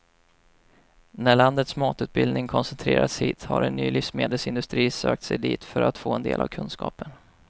När landets matutbildning koncentrerats hit har en ny livsmedelsindustri sökt sig dit för att få del av kunskapen.